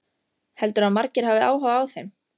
Heldurðu að margir hafi áhuga á þeim?